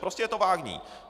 Prostě je to vágní.